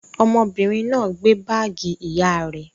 Ọmọbìnrin náà gbé báágì ìyá rẹ̀?